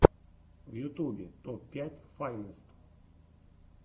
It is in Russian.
в ютубе топ пять файнест